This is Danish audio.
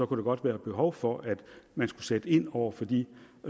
der godt være behov for at man skulle sætte ind over for de